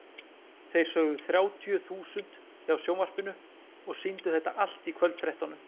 Þeir sögðu þrjátíu þúsund hjá sjónvarpinu og sýndu þetta allt í kvöldfréttunum.